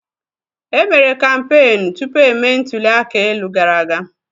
E mere kampeenụ́ tupu emee ntuli aka elu gara aga.